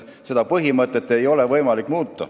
Seda põhimõtet ei ole võimalik muuta.